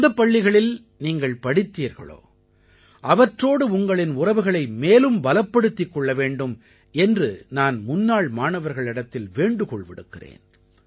எந்தப் பள்ளிகளில் நீங்கள் படித்தீர்களோ அவற்றோடு உங்களின் உறவுகளை மேலும் பலப்படுத்திக் கொள்ள வேண்டும் என்று நான் முன்னாள் மாணவர்களிடத்தில் வேண்டுகோள் விடுக்கிறேன்